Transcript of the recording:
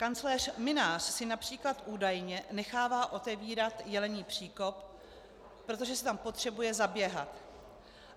Kancléř Mynář si například, údajně, nechává otevírat Jelení příkop, protože si tam potřebuje zaběhat.